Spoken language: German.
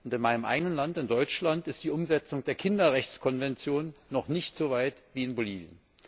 In meinem eigenen Land in Deutschland ist die Umsetzung der Kinderrechtskonvention noch nicht so weit wie in Bolivien.